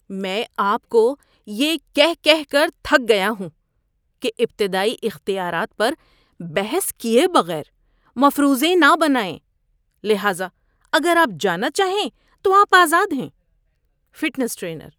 میں آپ کو یہ کہہ کہہ کر تھک گیا ہوں کہ ابتدائی اختیارات پر بحث کیے بغیر مفروضے نہ بنائیں، لہذا اگر آپ جانا چاہیں تو آپ آزاد ہیں۔ (فٹنس ٹرینر)